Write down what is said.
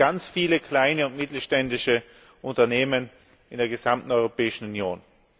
Das machen ganz viele kleine und mittelständische Unternehmen in der gesamten Europäischen Union.